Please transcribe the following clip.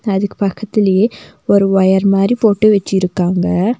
அதுக்கு பக்கத்துலியே ஒரு ஒயர் மாரி போட்டு வச்சிருக்காங்க.